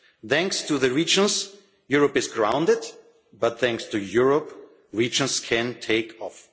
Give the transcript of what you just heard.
Thanks to the regions, Europe is grounded, but thanks to Europe, regions can take off.